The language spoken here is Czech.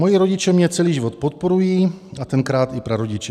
Moji rodiče mě celý život podporují a tenkrát i prarodiče.